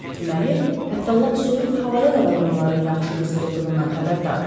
Deməli, hətta lap soyuq havada da vaqonların yaxşı qızdırıldığından xəbərdardı.